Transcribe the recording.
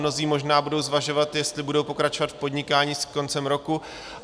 Mnozí možná budou zvažovat, jestli budou pokračovat v podnikání s koncem roku.